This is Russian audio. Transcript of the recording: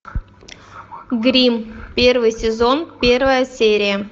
гримм первый сезон первая серия